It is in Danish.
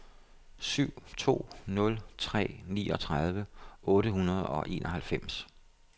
syv to nul tre niogtredive otte hundrede og enoghalvfems